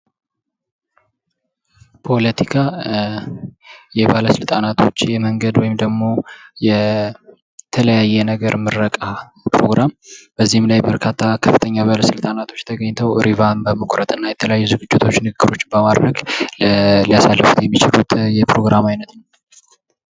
ፖለታካ የባለስልጣናቶች የመንገድ ወይም ደግሞ የተለያየ ነገር ምርቃ ፕሮግራም በዚህም ላይ በርካታ ትላልቅ ባለስልጣኖች ተገኝተዉ ሪቫን በመቁረጥ የተለያዩ ንግግሮችን በማድረግ ሊያሳልፉት የሚችሉት በዓል ነዉ።